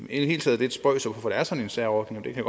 i det hele taget lidt spøjst hvorfor der er sådan en særordning det kan